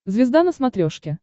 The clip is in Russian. звезда на смотрешке